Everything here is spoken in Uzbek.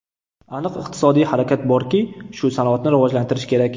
Aniq iqtisodiy harakat borki, shu sanoatni rivojlantirish kerak”.